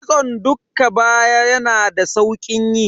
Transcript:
Kitson dukka baya yana da saukin yi.